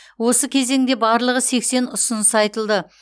осы кезеңде барлығы сексен ұсыныс айтылды